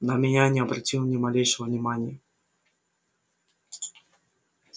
на меня не обратил ни малейшего внимания